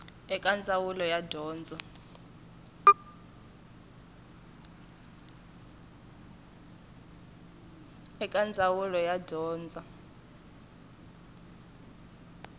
eka ndzawulo ya dyondzo ya